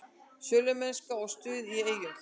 Sölumennska og stuð í Eyjum